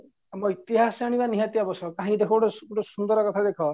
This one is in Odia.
ଆମ ଇତିହାସ ଜାଣିବା ନିହାତି ଆବଶ୍ୟକ କାହିଁକି ଦେଖ ଗୋଟେ ଗୋଟେ ସୁନ୍ଦର କଥା ଦେଖ